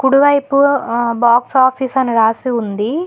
కుడి వైపు ఆ బాక్స్ ఆఫీస్ అని రాసి ఉంది